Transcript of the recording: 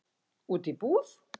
Út í búð?